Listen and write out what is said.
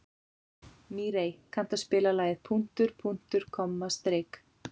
Mírey, kanntu að spila lagið „Punktur, punktur, komma, strik“?